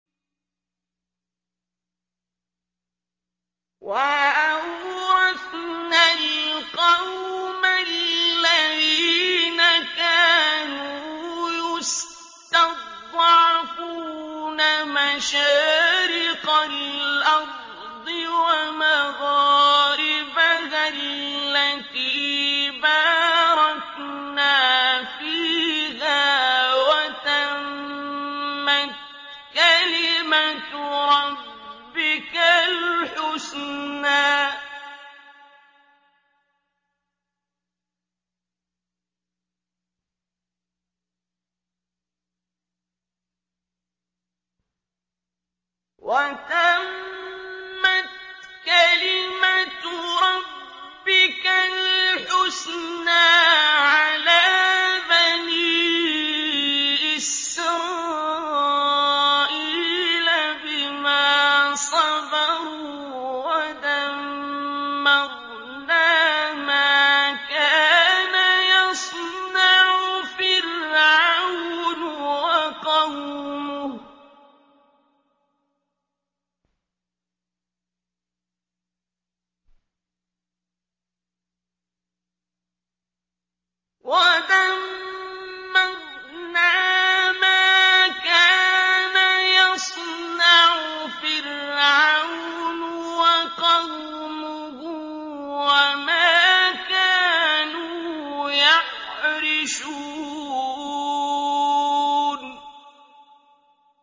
وَأَوْرَثْنَا الْقَوْمَ الَّذِينَ كَانُوا يُسْتَضْعَفُونَ مَشَارِقَ الْأَرْضِ وَمَغَارِبَهَا الَّتِي بَارَكْنَا فِيهَا ۖ وَتَمَّتْ كَلِمَتُ رَبِّكَ الْحُسْنَىٰ عَلَىٰ بَنِي إِسْرَائِيلَ بِمَا صَبَرُوا ۖ وَدَمَّرْنَا مَا كَانَ يَصْنَعُ فِرْعَوْنُ وَقَوْمُهُ وَمَا كَانُوا يَعْرِشُونَ